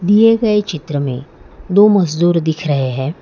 दिए गए चित्र में दो मजदूर दिख रहे है।